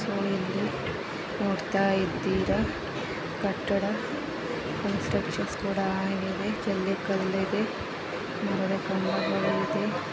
So ಇಲ್ಲಿ ನೋಡ್ತಾ ಇದ್ದೀರಾ ಕಟ್ಟಡ ಕೂಡ ಆಗಿದೆ. ಜೆಲ್ಲಿ ಕಲ್ಲಿದೆ ಮರದ ಕಂಬಗಳು ಇದೆ.